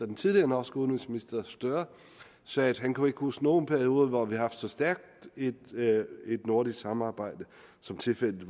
den tidligere norske udenrigsminister støre sagde at han ikke kunne huske nogen periode hvor vi har haft så stærkt et nordisk samarbejde som tilfældet